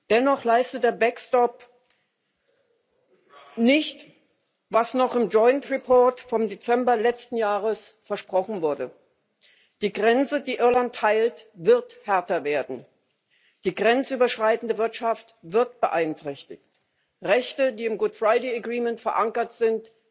Dennoch leistet der Backstop nicht, was noch im Joined Report vom Dezember letzten Jahres versprochen wurde Die Grenze, die Irland teilt, wird härter werden, die grenzüberschreitende Wirtschaft wird beeinträchtigt, Rechte, die im Good Friday Agreement verankert sind,